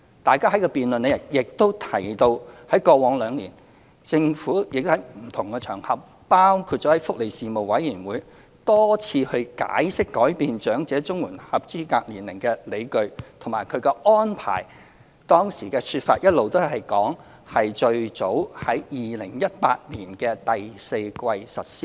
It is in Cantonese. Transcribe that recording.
大家在辯論中亦提到，政府在過往兩年曾在不同場合，多次解釋改變長者綜援合資格年齡的理據及安排，當時的說法一直是最早在2018年第四季實施。